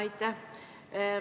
Aitäh!